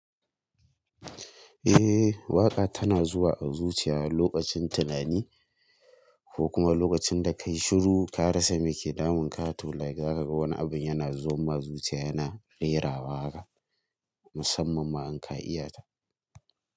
Eh waƙa tana zuwa a zuciya lokacin tunani ko kuma lokacin da ka yi shiru, ka rasa me ke damun ka, to like za ka ga wani abun yana zuwa zuciya yana rera waka. Musamman ma in ka iyata.